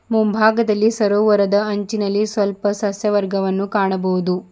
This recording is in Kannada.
ಮುಂಭಾಗದಲ್ಲಿ ಸರೋವರದ ಅಂಚಿನಲ್ಲಿ ಸ್ವಲ್ಪ ಸಸ್ಯವರ್ಗವನ್ನು ಕಾಣಬೋದು.